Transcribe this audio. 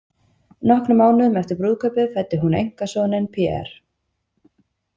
Nokkrum mánuðum eftir brúðkaupið fæddi hún einkasoninn, Pierre.